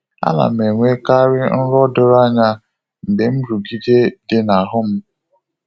A na m-enwekarị nrọ doro anya mgbe nrụgide dị n’ahụ m.